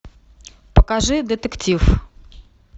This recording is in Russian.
покажи детектив